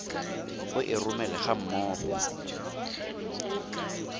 o e romele ga mmogo